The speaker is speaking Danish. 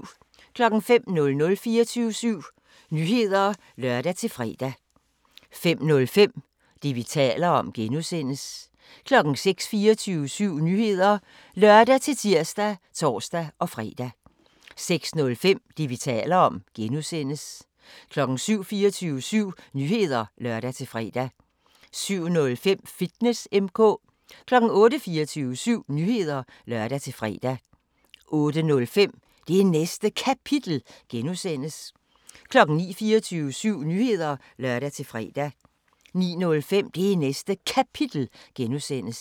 05:00: 24syv Nyheder (lør-fre) 05:05: Det, vi taler om (G) 06:00: 24syv Nyheder (lør-tir og tor-fre) 06:05: Det, vi taler om (G) 07:00: 24syv Nyheder (lør-fre) 07:05: Fitness M/K 08:00: 24syv Nyheder (lør-fre) 08:05: Det Næste Kapitel (G) 09:00: 24syv Nyheder (lør-fre) 09:05: Det Næste Kapitel (G)